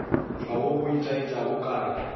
tšwago go itaetša o kare